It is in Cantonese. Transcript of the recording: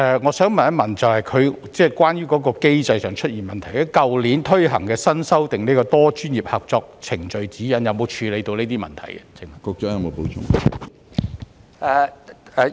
我想問局長，去年實施的新修訂《多專業合作程序指引》有否處理機制上出現的問題？